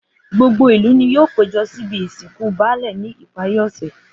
Gbogbo ìlú ni yóò péjo síbi ìsìnkú baálè ní ìparí òsè